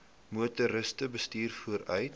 motoriste bestuur voertuie